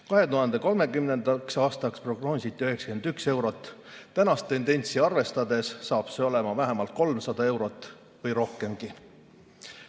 2030. aastaks prognoositi 91 eurot, tänast tendentsi arvestades saab see olema vähemalt 300 eurot või rohkemgi.